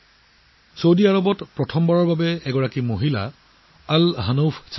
Saudi আৰৱত প্ৰথমবাৰৰ বাবে এগৰাকী মহিলা আল হানফ সাদ জীৰ নেতৃত্বত যোগ দিৱস পালন কৰা হয়